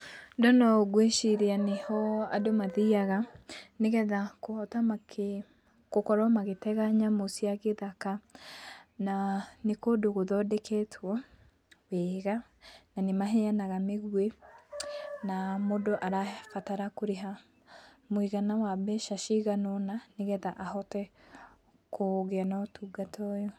Ndona ũũ nĩ ngwĩciria nĩho andũ mathiaga, nĩgetha kũhota makĩ, gũkorwo magĩtega nyamũ cia gĩthaka, na kũndũ gũthondeketwo wega na nĩ mahaeanaga mĩgwĩ, na mũndũ arabatara kũrĩha mũigana wa mbeca ciganona nĩgetha ahote kũgĩa na ũtungata ũyũ.